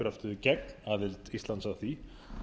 gegn aðild íslands að því